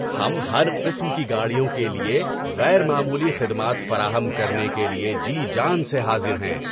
ہم ہر قسم کی گاڑیوں کے لیے غیر معمولی خدمات فراہم کرنے کے لیے جی جان سے حاضر ہیں۔